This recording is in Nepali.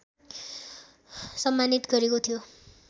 सम्मानित गरेको थियो